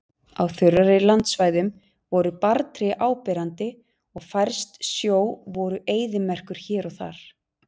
Á þurrari landsvæðum voru barrtré áberandi og fjærst sjó voru eyðimerkur hér og þar.